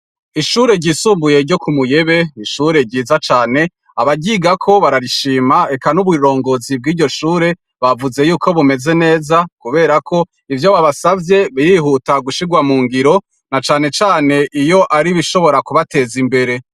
Ishure ryisumbuye ryo ku Muyebe ni ishure ryiza cane. Abaryigako bararishima, eka n'uburongozi bw'iryo shure bavuze yuko bumeze neza kuberako ivyo babasavye, birihuta gushirwa mu ngiro na cane cane iyo ari ibishobora kubateza imbere.